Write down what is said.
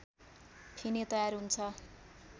Finney तयार हुन्छ